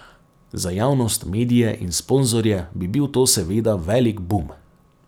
Za javnost, medije in sponzorje bi bil to seveda velik bum.